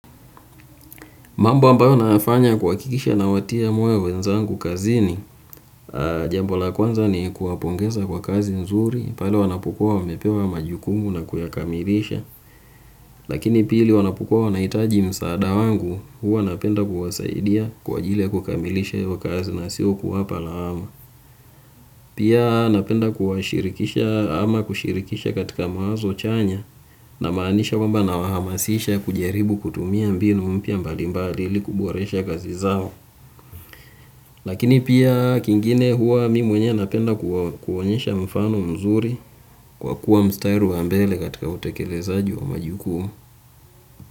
Mamba ambayo nayafanya kuhakikisha nawatia moyo wenzangu kazini, jambo la kwanza ni kuwapongeza kwa kazi nzuri, pale wanapokuwa wamepewa majukumu na kuyakamilisha, lakini pili wanapokuwa wanahitaji msaada wangu huwa napenda kuwasaidia kwa ajili ya kukamilisha hiyo kazi na sio kuwapa lawama. Pia napenda kuwashirikisha ama kushirikisha katika mawazo chanya namaanisha kwamba nawahamasisha kujaribu kutumia mbinu mpya mbali mbali ili kuboresha kazi zao. Lakini pia kingine huwa mi mwenyewe napenda kuwaonyesha mfano mzuri kwa kuwa mstari wa mbele katika utekelezaji wa majukumu.